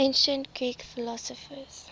ancient greek philosophers